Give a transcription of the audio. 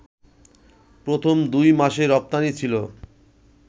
প্রথম দুই মাসে রপ্তানি ছিল